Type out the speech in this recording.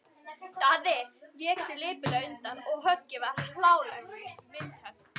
Daði vék sér lipurlega undan og höggið varð hlálegt vindhögg.